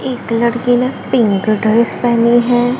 एक लड़की ने पिंक ड्रेस पहनी है।